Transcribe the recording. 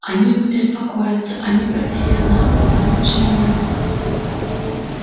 они не беспокоятся они профессионалы куда лучше меня